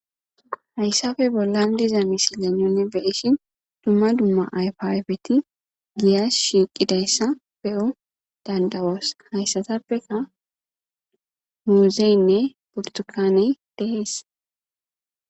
Hayssafe bollan diza misilyan yunibeishin dumma dumma aypyfeti giyas shiiqidayssa pe'o dandawoos hayssatappeka muuzeynne portokane dees.